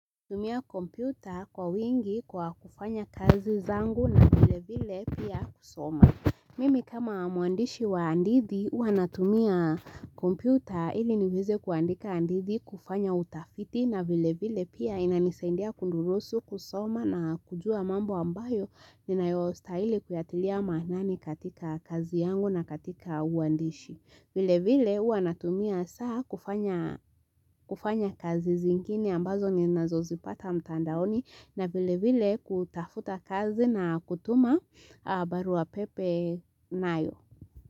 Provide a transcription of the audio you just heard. Tumia kompyuta kwa wingi kwa kufanya kazi zangu na vile vile pia kusoma. Mimi kama mwandishi wa andithi hua natumia kompyuta ili niweze kuandika andithi kufanya utafiti na vile vile pia inanisaindia kundurusu kusoma na kujua mambo ambayo ninayo stahili kuyatilia maanani katika kazi yangu na katika uandishi. Vile vile uanatumia saa kufanya kufanya kazi zingine ambazo ninazozipata mtandaoni na vile vile kutafuta kazi na kutuma barua pepe nayo.